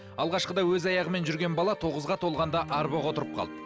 алғашқыда өз аяғымен жүрген бала тоғызға толғанда арбаға отырып қалды